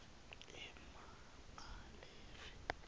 emabalave